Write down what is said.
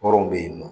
Hɔrɔnw bɛ yen nɔ